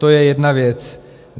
To je jedna věc.